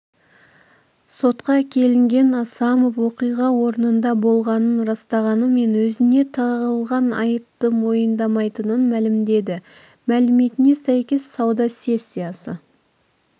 сотқа әкелінген асамов оқиға орнында болғанын растағанымен өзіне тағылған айыпты мойындамайтынын мәлімдеді мәліметіне сәйкес сауда сессиясы